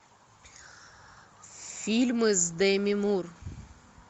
фильмы с деми мур